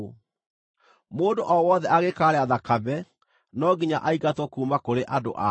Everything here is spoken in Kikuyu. Mũndũ o wothe angĩkaarĩa thakame, no nginya aingatwo kuuma kũrĩ andũ ao.’ ”